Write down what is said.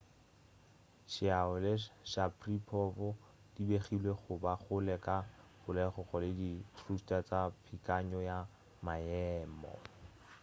chiao le sharipov di begilwe go ba kgole ka polokego le di-thruster tša peakanyo ya maemo